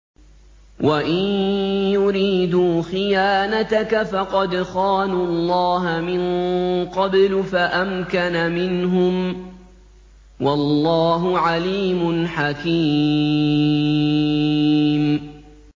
وَإِن يُرِيدُوا خِيَانَتَكَ فَقَدْ خَانُوا اللَّهَ مِن قَبْلُ فَأَمْكَنَ مِنْهُمْ ۗ وَاللَّهُ عَلِيمٌ حَكِيمٌ